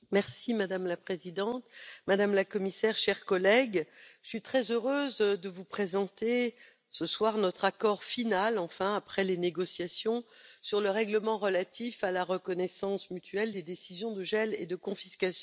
Madame la Présidente, Madame la Commissaire, chers collègues, je suis très heureuse de vous présenter ce soir, enfin, notre accord final, après les négociations sur le règlement relatif à la reconnaissance mutuelle des décisions de gel et de confiscation.